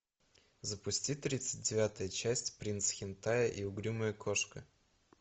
запусти тридцать девятая часть принц хентая и угрюмая кошка